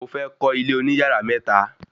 Mo fẹ́ kọ́ ilé oní yàrá mẹ́ta